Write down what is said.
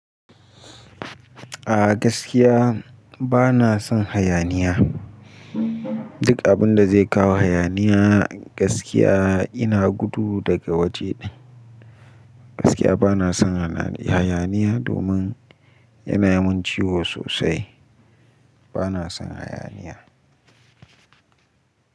A gaskiya bana son hayaniya. Duk abun da zai kawo hayaniya gaskiya ina gudu daga waje din. Gaskiya bana son hayaniya domin yana yi min ciwo sosai. Bana son hayaniya.